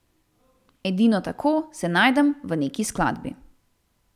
Edino tako se najdem v neki skladbi.